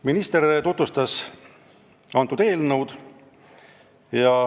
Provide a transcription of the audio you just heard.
Minister tutvustas eelnõu.